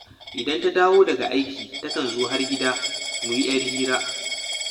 Idan ta dawo daga aiki takan zo har gida, mu yi ‘yar hira